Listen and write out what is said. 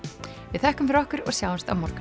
við þökkum fyrir okkur og sjáumst á morgun